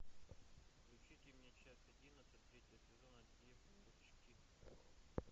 включите мне часть одиннадцать третьего сезона девочки